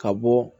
Ka bɔ